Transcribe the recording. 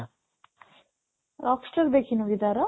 Rockstar ଦେଖିନୁ କି ତାର?